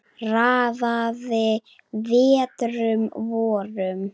Raðaði vetrum vorum